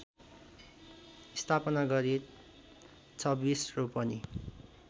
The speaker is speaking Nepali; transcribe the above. स्थापना गरी २६ रोपनि